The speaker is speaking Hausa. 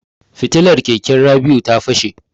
Fitilar keken Rabi'u ta fashe.